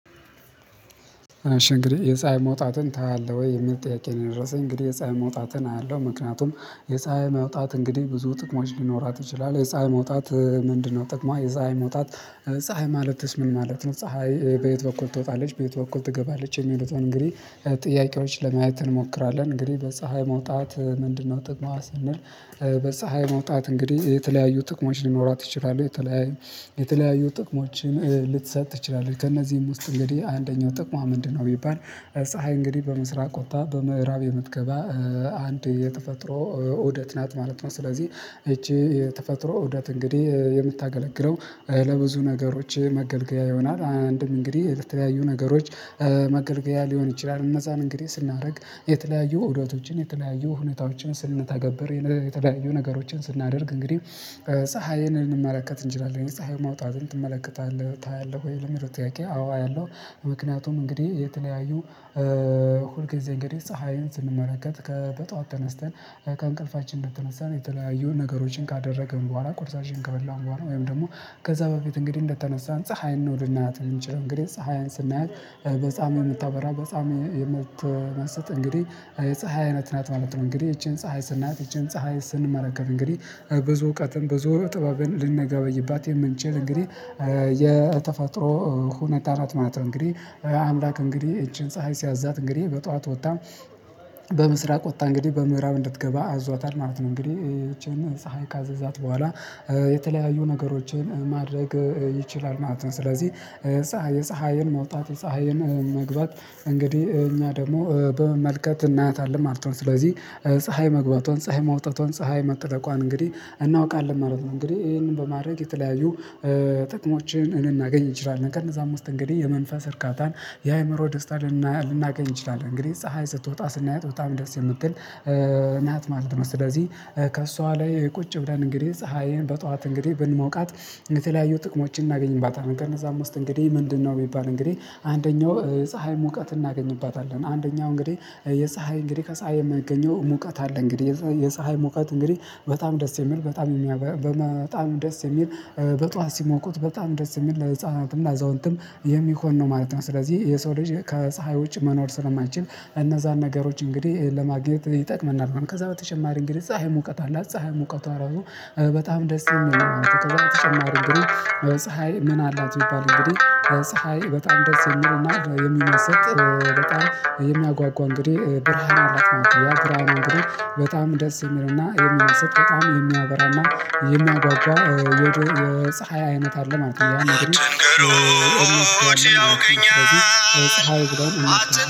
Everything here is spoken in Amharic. አሺ እንግዲህ የፀሀይ መውጣትን ታያለህ ወይ የምል ጥየቄ የደረሰኝ እንግዲህ የፀሀይ መውጣትን አያለው ምክንያቱም የፀሀይ መውጣት እንግዲህ ብዙ ጥቅሞች ሊኖራት ይችላል የፀሀይ መውጣት ምንድነው ጥቅሟ የፀሀይ መውጣት ፀሀይ ማለትስ ምን ማለት ነው? ፀሀይ በየት በኩል ትወጣለች በየት በኩል ትገባለች የሚሉትን እንግዲህ ጥያቄዎች ለማየት እንሞክራለን እንግዲህ በፀሀይ መውጣት ምንድነው ጥቅሟ ስንል በፀሀይ መውጣት እንግዲህ የተለያዩ ጥቅሞች ሊኖሯት ይችላሉ የተለያዩ የተለያዩ ጥቅሞችን ልትሰጥ ትችላለች ከእነዚህም ውስጥ እንግዲህ አንደኛው ጥቅሟ ምንድነው ቢባል ፀሀይ እንግዲህ በምስራቅ ወጥታ በምዕራብ የምትገባ አንድ የተፈጥሮ ውደት ናት ማለት ነው ስለዚህ ይቺ የተፈጥሮ ውደት እንግዲህ የምታገለግለው ለብዙ ነገሮች መገልገያ ይሆናል አንድም እንግዲህ የተለያዩ ነገሮች መገልገያ ሊሆን ይችላል እነዛን እንግዲህ ስናደርግ የተለያዩ ሁዳቶችን የተለያዩ ሁኔታዎችን ስንታግበር የተለያዩ ነገሮችን ስናደርግ እንግዲህ ፀሀይንን ልንመለከት እንችላለን ፀሀይ ማውጣትን ትመለከታለህ ታያለህ ወይ ለሚል ጥያቄ አዎ አያለሁ ምክንያቱም እንግዲህ የተለያዩ ሁልጊዜ እንግዲህ ፀሀይን ስንመለከት ከ በጧት ተነስተን ከእንቅልፋችን እንድተነሳን የተለያዩን ነገሮችን ካደረግን በኋላ ቁርሳችን ከበላን በኋላ ወይም ደግሞ ከዛ በፊት እንግዲህ እንደተነሳን ፀሀይን ነው ልኖርላት የምንችለው እንግዲህ ፀሀይን ስናያት በጣም የምታበራ በጣም የምትመስጥ እንግዲህ የፀሀይ አይነት ናት ማለት ነው እንግዲህ ይቺን ፀሀይ ስናያት ይቺን ፀሀይ ስንመለከት እንግዲህ ብዙ እውቀትን ብዙ ጥበብን ልንገባይባት የምንችል እንግዲህ የተፈጥሮ ሁኔታ ናት ማለት እንግዲህ አምላክ እንግዲህ ይቺን ፀሀይ ሲያዛት እንግዲህ በጧት ወጣ በምስራቅ ወጣ እንግዲህ በምዕራብ እንድትገባ አዟታል ማለት ነው እንግዲህ ይቺን ፀሀይ ካዘዛት በኋላ የተለያዩ ነገሮችን ማድረግ ይችላል ማለት ነው ስለዚህ የፀሀይን መውጣት የፀሀይን መግባት እንግዲህ እኛ ደግሞ በመመልከት እናያታለን ማለት ነው ስለዚህ ፀሀይ መግባቷን ፀሀይ መውጣቷን ፀሀይ መጥለቋን እንግዲህ እናውቃለን ማለት ነው እንግዲህ ይሄንን በማድረግ የተለያዩ ጥቅሞች ልናገኝ ይችላለን ከነዛ አምስት እንግዲህ የመንፈስ እርካታን የአእምሮ ደስታ ልናገኝ እንችላለን እንግዲህ ፀሀይ ስትወጣ ስናየው በጣም ደስ የምትል ናት ማለት ነው ስለዚህ ከእሷ ላይ ቁጭ ብለን እንግዲህ ፀሀይን በጧት እንግዲህ ብንሞቃት የተለያዩ ጥቅሞችን እናገኝባታለን ከነዛ ውስጥ እንግዲህ ምንድነው የሚባል እንግዲህ አንደኛው ፀሀይ ሙቀት እናገኝባታለን አንደኛው እንግዲህ የፀሀይ እንግዲህ ከፀሀይ የማያገኘው ሙቀት አለ እንግዲህ የፀሀይ ሙቀት እንግዲህ በጣም ደስ የሚል በጣም በጣም ደስ የሚል በጧት ሲሞቁት በጣም ደስ የሚል ለህፃናትም ለአዛውንትም የሚሆን ነው ማለት ነው ስለዚህ የሰው ልጅ ከፀሀይ ውጭ መኖር ስለማይችል እነዛን ነገሮች እንግዲህ ለማግኘት ይጠቅመናል ከዛ በተጨማሪ እንግዲህ ፀሀይ ሙቀት አለ ፀሀይ ሙቀቷ ራሱ በጣም ደስ ይለኛል ተጨማሪ ብሩ ፀሀይ ምን አላት የሚባል እንግዲህ ፀሀይ በጣም ድረስ ይለኛል የሚል ሰጥ በጣም የሚያጓጓ እንግዲህ ብርሃን አላት ነው። ያ ብርሃን አላት ነው። በጣም ደስ የሚልና የሚስብ በጣም የሚያበራ እና የሚያጓጓ የፀሀይ አይነት አለ ማለት ነው። አትንገሩት ያውቀኛል።